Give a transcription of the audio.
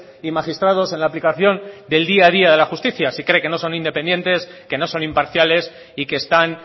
y magistrados en la aplicación del día a día de la justicia si cree que no son independientes que no son imparciales y que están